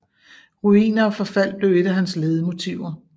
Ruiner og forfald blev et af hans ledemotiver